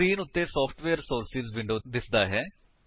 screen ਉੱਤੇ software sources window ਦਿਸਦਾ ਹੈ